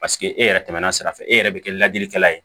Paseke e yɛrɛ tɛmɛna sira fɛ e yɛrɛ bɛ kɛ lajɛlikɛla ye